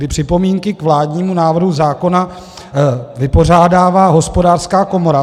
Ty připomínky k vládnímu návrhu zákona vypořádává Hospodářská komora.